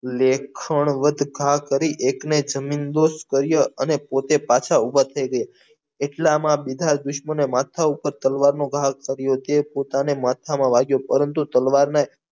લેખણ વત ભાગ કરી એકને જમીનદોસ કર્યા અને પોટે પાછા ઉભા થઈ ગયા એટલામાં બીજા દુશ્મને માથા ઉપર તલવારનો ઘા કર્યો તે પોતાને માથાને વાગ્યો પરંતુ તલવારને